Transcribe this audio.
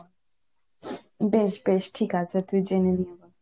বেশ বেশ ঠিক আছে তুই জেনে নে।